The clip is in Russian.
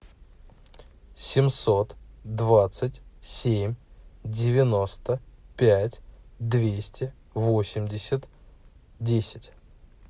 семьсот двадцать семь девяносто пять двести восемьдесят десять